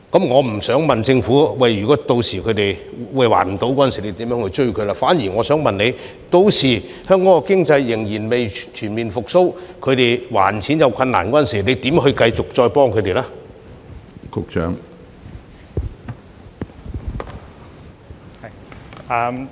我不想問如果申請人屆時無法還錢，政府會如何向他們追討，反而想問如果屆時香港經濟仍未全面復蘇，他們無法還款時，政府會如何繼續幫助他們呢？